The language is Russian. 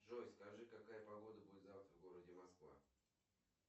джой скажи какая погода будет завтра в городе москва